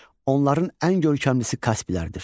Onların ən görkəmlisi Kasplərdir.